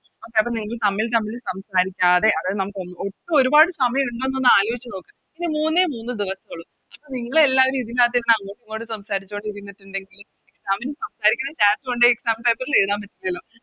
Okay അത് കഴിഞ്ഞ് തമ്മിൽ തമ്മിൽ സംസാരിക്കാതെ അതായത് നമുക്ക് ഒട്ടും ഒരുപാട് സമയം ഉണ്ടോന്ന് ഒന്ന് ആലോയിച്ച് നോക്ക് ഇനി മൂന്നേ മൂന്ന് ദിവസേ ഉള്ളു അപ്പൊ നിങ്ങളെല്ലാരും ഇതിനാത്ത് ഇരുന്ന് അങ്ങോട്ടും ഇങ്ങോട്ടും സംസാരിച്ചോണ്ടിരിന്നിട്ടിണ്ടെങ്കിൽ Exam ന് സംസാരിക്കുന്നെ Chat കൊണ്ടോയി Exam paper ൽ എഴുതാൻ പറ്റില്ലല്ലോ